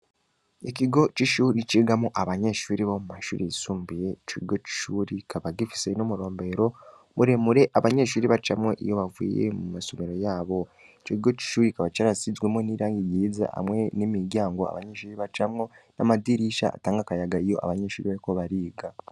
Ikigo c’ishuri cigamwo abanyeshuri bo mu mashuri yisumbuye, ico kigo c’ishuri kikaba gifise n’umurombero, muremure abanyeshuri bacamwo iyo bavuye mu masomero yabo, ico kigo c’ishuri kikaba carasizwemwo n’irangi ryiza hamwe n’imiryango abanyeshuri bacamwo, n’amadirisha atanga akayaga iyo abanyeshuri bariko bariga.